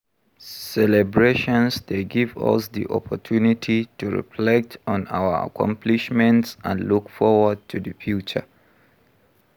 Celebrations dey give us di opportunity to reflect on our accomplishments and look forward to di future.